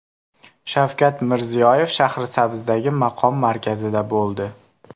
Shavkat Mirziyoyev Shahrisabzdagi maqom markazida bo‘ldi.